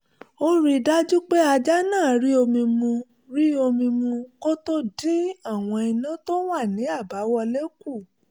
ó rí i dájú pé ajá náà rí omi mu rí omi mu kó tó dín àwọn iná tó wà ní àbáwọlé kù